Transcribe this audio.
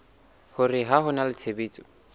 hore ho na le tshebetso